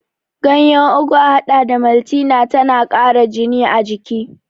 Ganyar ugu a haɗa da maltina tana ƙara jini a jiki.